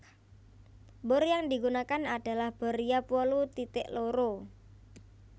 Bor yang digunakan adalah bor riap wolu titik loro